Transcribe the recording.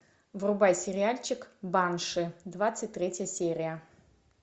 врубай сериальчик банши двадцать третья серия